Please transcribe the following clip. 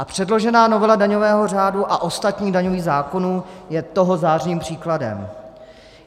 A předložená novela daňového řádu a ostatních daňových zákonů je toho zářným příkladem.